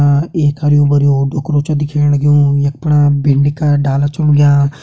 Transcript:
आ एक हरयूं भरयुं डुकरु छ दिखेण लग्युं यख फणा भिंडी का डाला छा उग्यां ।